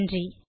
நன்றி